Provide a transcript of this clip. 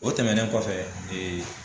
O tɛmɛnen kɔfɛ